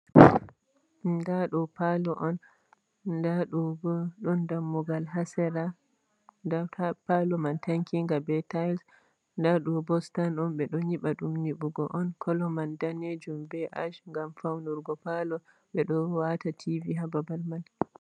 Ndaa ɗo paali on, ndaa ɗo boo ɗon dammugal haa sera, nda paalo man tankinga bee Tiles, ndaa ɗo'o boo stan on, ɓe ɗon nyiɓa ɗum nyiɓuki on, koɗo mani daneejum bee Ash ngam fawnurgo paali, ɓeɗo wa'ata Tiivi haa babal may.